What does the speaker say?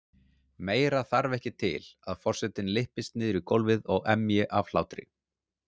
Meira þarf ekki til að forsetinn lyppist niður í gólfið og emji af hlátri.